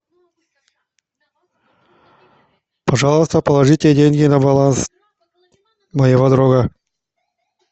пожалуйста положите деньги на баланс моего друга